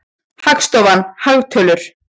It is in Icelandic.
Hagstofan- hagtölur.